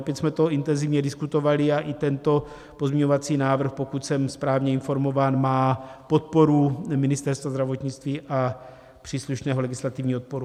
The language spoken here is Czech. Opět jsme to intenzivně diskutovali a i tento pozměňovací návrh, pokud jsem správně informován, má podporu Ministerstva zdravotnictví a příslušného legislativního odboru.